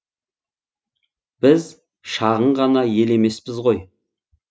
біз шағын ғана ел емеспіз ғой